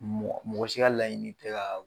Mɔ mɔgɔ si ka laɲini tɛ kaa